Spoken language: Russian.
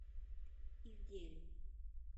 ивделю